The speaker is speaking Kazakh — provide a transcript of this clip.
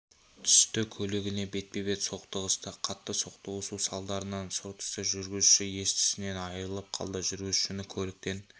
түсті көлігіне бетпе-бет соқтығысты қатты соқтығысу салдарынан сұр түсті жүргізушісі ес-түсінен айырылып қалды жүргізушіні көліктен